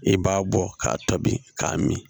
I b'a bɔ k'a tobi k'a min